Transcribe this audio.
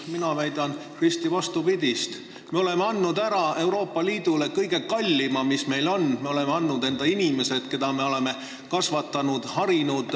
Mina väidan risti vastupidist: me oleme Euroopa Liidule ära andnud kõige kallima, mis meil on, me oleme andnud ära oma inimesed, keda me oleme kasvatanud ja harinud.